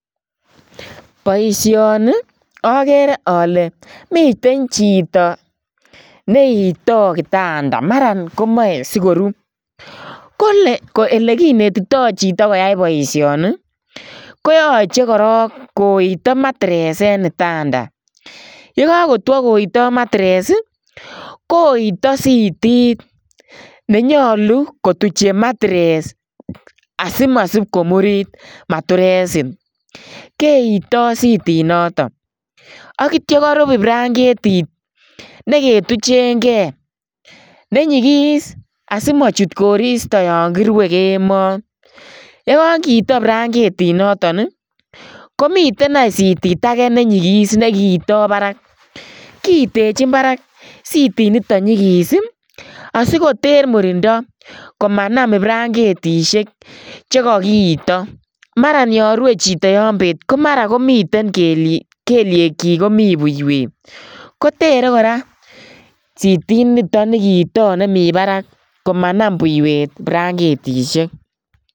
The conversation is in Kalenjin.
Boisioni agere ale miten chitoo neitai kitandeet mara komachei sigoruuh kole ele kinetitoi chitoo koyai boisioni koyachei korong koitaa [mattress] en kitanda ye kakotwaah koitaai [mattress] koitaa sitit nenyaluu kotucheen [mattress] asimasiib komuriit mattressit keitaah sitit notoon ak yeityaan koriib branketit neke tugeengei nenyigis asimachuut koristoi yaan kirue kemoi yaan kitaam iruen ibrakentit notoon ii komiteen aany sitit agei nenyigis me kiitai baraak kiitenchiin barak sitiit nitoon nyigis ii asikoterr murindai komanam brakentisheek che kakiitai mara yaan rue chitoo yaan beet ko mara komiteen kelyegyiik komii buiywet ko terei kora sitit nitoon nimii barak komanam buiywet branketisheek .